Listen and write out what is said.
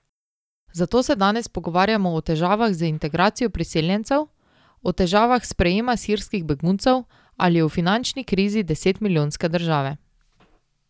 Zato se danes pogovarjamo o težavah z integracijo priseljencev, o težavah sprejema sirskih beguncev ali o finančni krizi deset milijonske države.